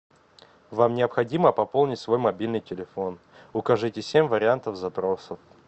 вам необходимо пополнить свой мобильный телефон укажите семь вариантов запросов